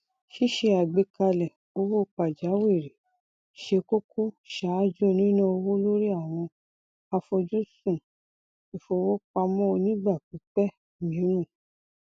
ṣíṣe àgbékalẹ owó pàjáwìri ṣé kókó ṣáájú níná owó lorí àwọn àfojúsùn ìfowópamọ onígbà pípẹ mìíràn